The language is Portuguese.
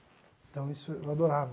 Então isso eu adorava.